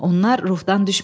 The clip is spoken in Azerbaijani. Onlar ruhdan düşmədilər.